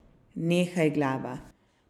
Nehaj, glava.